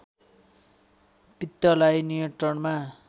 पित्तलाई नियन्त्रणमा